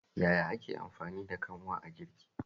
Yaya ake amfani da kanwa a girki?